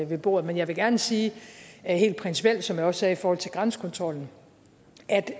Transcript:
ved bordet men jeg vil gerne sige helt principielt som jeg også sagde i forhold til grænsekontrollen at